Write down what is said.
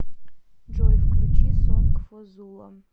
джой включи сонг фо зула